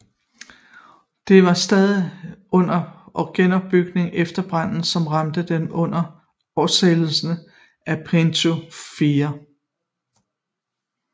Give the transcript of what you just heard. Det var stadig under genopbygning efter branden som ramte det under afsættelsen af Pietro 4